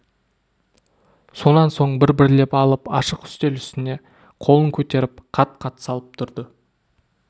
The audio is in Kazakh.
сонан соң бір-бірлеп алып ашық үстел үстіне қолын көтеріп қат-қат салып тұрды